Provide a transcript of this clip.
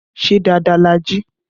Ṣé dáadáa la jí?